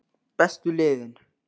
Bestu liðin?